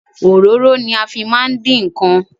Ororo ni a fi maa n din nkan